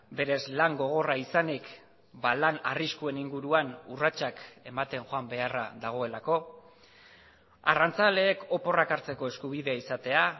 berez lan gogorra izanik lan arriskuen inguruan urratsak ematen joan beharra dagoelako arrantzaleek oporrak hartzeko eskubidea izatea